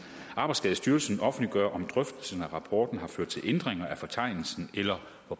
arbejdsskadestyrelsen offentliggøre om drøftelsen af rapporten har ført til ændringer af fortegnelsen eller